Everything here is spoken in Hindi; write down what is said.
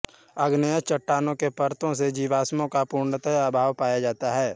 आग्नेय चट्टानों के परतों मे जीवाश्मों का पूर्णतः अभाव पाया जाता है